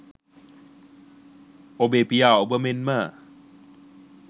ඔබේ පියා ඔබ මෙන්ම